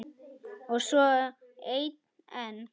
Og svo einn enn.